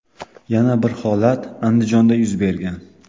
Yana bir holat Andijonda yuz bergan.